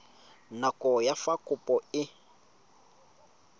nako ya fa kopo e